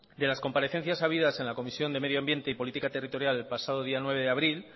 de las comparecencias habidas en la comisión de medio ambiente y política territorial el pasado día nueve de abril